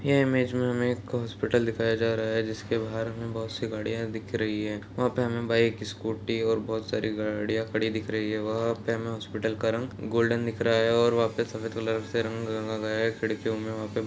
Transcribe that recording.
ये इमेज में हमें एक हॉस्पिटल दिखाया जा रहा है जिसके बाहर हमें बहुत सी गड़ियाँ दिख रही है वहाँ पे हमें बाइक स्कूटी और बहुत सारी गाड़ियाँ खड़ी दिख रही है वहाँ पे हमें हॉस्पिटल का रंग गोल्डन दिख रहा है और वहाँ पे सफ़ेद कलर से रंग रंगा गया है खिड़कियों में वहाँ पे --